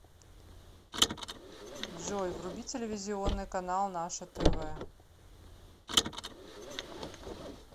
джой вруби телевизионный канал наше тв